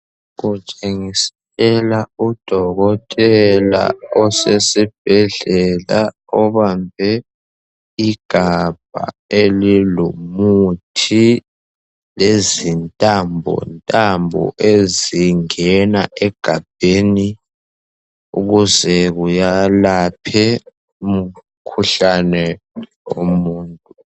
Kutshengisela udokotela osesibhedlela obambe igabha elilomuthi lezintambontambo ezingena egabheni ukuze kuyelaphe umkhuhlane umuntu.